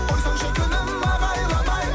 қойсаңшы күнім ағайламай